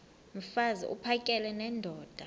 mfaz uphakele nendoda